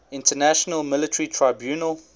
international military tribunal